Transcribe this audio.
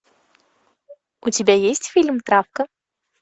у тебя есть фильм травка